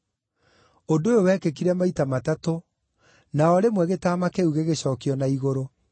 Ũndũ ũyũ wekĩkire maita matatũ, na o rĩmwe gĩtama kĩu gĩgĩcookio na igũrũ.